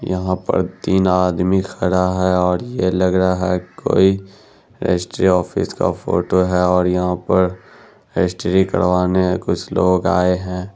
यहाँ पर तीन आदमी खड़ा है और ये लग रहा है कोई रजिस्ट्री ऑफिस फोटो है और यहाँ पर रजिस्ट्री करवाने कुछ लोग आए है।